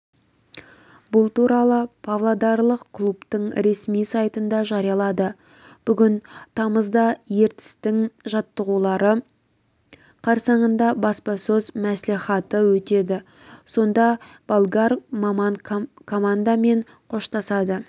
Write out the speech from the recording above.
бұл туралы павлодарлық клубтың ресми сайтында жарияланды бүгін тамызда ертістің жаттығулары қарсаңында баспасөз мәслихаты өтеді сонда болгар маман командамен қоштасады